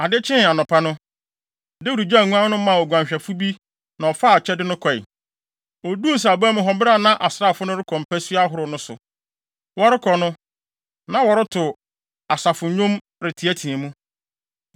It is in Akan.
Ade kyee anɔpa no, Dawid gyaw nguan no maa oguanhwɛfo bi na ɔfaa akyɛde no kɔe. Oduu nsraban mu hɔ bere a na asraafo no rekɔ mpasua ahorow no so. Wɔrekɔ no, na wɔreto asafonnwom reteɛteɛ mu.